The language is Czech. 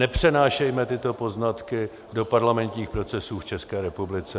Nepřenášejme tyto poznatky do parlamentních procesů v České republice.